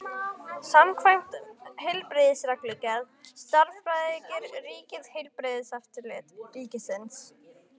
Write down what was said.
Samkvæmt heilbrigðisreglugerð starfrækir ríkið Heilbrigðiseftirlit ríkisins.